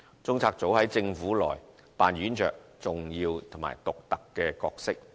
中策組在政府內扮演着重要及獨特角色。